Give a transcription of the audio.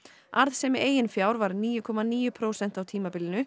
arðsemi eigin fjár var níu komma níu prósent á tímabilinu